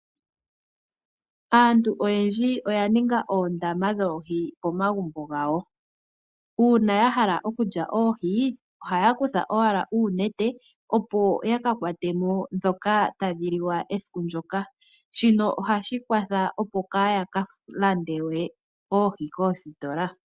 Aantu oyendji oya ninga oondama dhoohi pomagumbo gawo. Uuna ya hala okulya oohi ohaya kutha owala uunete opo yakakwate mo ndhoka tadhi liwa esiku ndoka. Shino ohashi kwatha opo kaaya ka lande we oohi koositola.